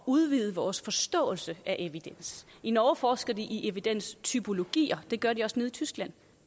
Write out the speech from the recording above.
udvider vores forståelse af evidens i norge forsker de i evidenstypologier det gør de også nede i tyskland